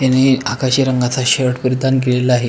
त्यांनी आकाशी रंगाचा शर्ट परिधान केलेला आहे.